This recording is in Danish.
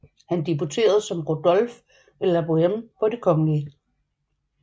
Han debuterede som Rodolphe i la Boheme på Det kgl